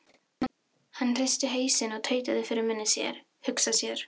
Hann hristi hausinn og tautaði fyrir munni sér: Hugsa sér.